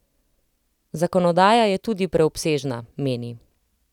Zakonodaja je tudi preobsežna, meni.